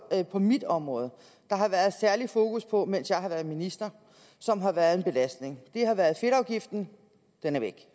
der på mit område har været særligt fokus på mens jeg har været minister som har været en belastning har været fedtafgiften den er væk